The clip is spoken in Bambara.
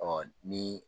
Ɔ ni